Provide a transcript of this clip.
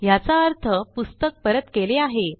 ह्याचा अर्थ पुस्तक परत केले आहे